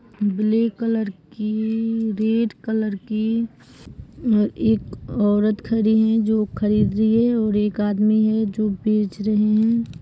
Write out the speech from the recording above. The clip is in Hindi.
ब्लैक कलर की रेड कलर की ह-ह एक औरत खड़ी है जो खरीद रही है और एक आदमी हैं जो बेच रहे हैं।